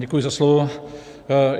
Děkuji za slovo.